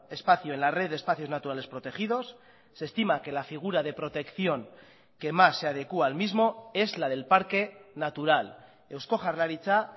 espacio en la red de espacios naturales protegidos se estima que la figura de protección que más se adecua al mismo es la del parque natural eusko jaurlaritza